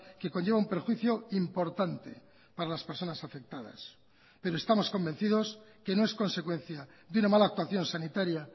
que conlleva un perjuicio importante para las personas afectadas pero estamos convencidos que no es consecuencia de una mala actuación sanitaria